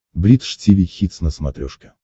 бридж тиви хитс на смотрешке